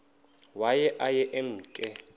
waye aye emke